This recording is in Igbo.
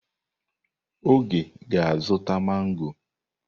Oge ga-azụta mangọ.